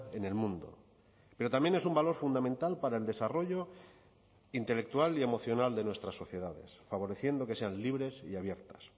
en el mundo pero también es un valor fundamental para el desarrollo intelectual y emocional de nuestras sociedades favoreciendo que sean libres y abiertas